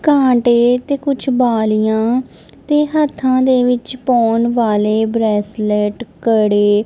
ਕਾਂਟੇ ਤੇ ਕੁਝ ਬਾਲੀਆਂ ਤੇ ਹੱਥਾਂ ਦੇ ਵਿੱਚ ਪਾਉਣ ਵਾਲੇ ਬਰੇਸਲਟ ਕੜੇ--